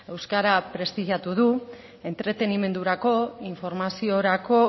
euskara prestigiatu du entretenimendurako informaziorako